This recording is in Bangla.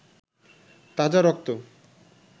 তাজা রক্ত